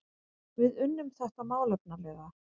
Við unnum þetta málefnalega